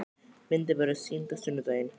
Myndin verður sýnd á sunnudaginn.